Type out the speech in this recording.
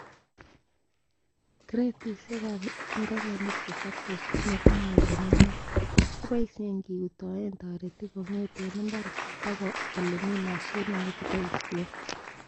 Kretisiek ab ingigenik chesoptos komokimolchin inaat, keboishen kiutoen toritik kongeten imbar bokoi ele mi mashinit nekeboishen.